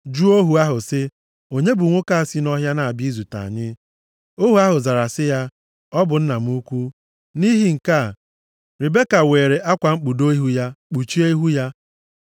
jụọ ohu ahụ sị, “Onye bụ nwoke a si nʼọhịa na-abịa izute anyị?” Ohu ahụ zara sị ya, “Ọ bụ nna m ukwu” Nʼihi nke a, Ribeka weere akwa mkpudo ya kpuchie ihu ya.